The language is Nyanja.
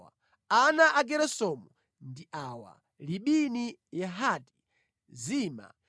Ana a Geresomu ndi awa: Libini, Yehati, Zima,